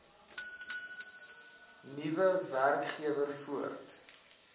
nuwe werkgewer voort